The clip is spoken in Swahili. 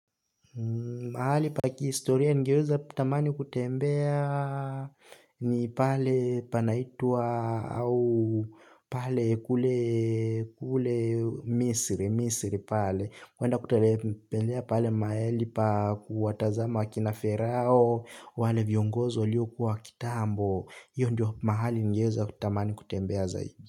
Mahali pa kihistoria ningeweza tamani kutembea ni pale panaitwa au pale kule kule misri, misri pale, waenda kuterepelea pale maeli pa kuwatazama akina ferao, wale viongozi walio kuwa kitambo, hiyo ndio mahali ningeweza kutamani kutembea zaidi.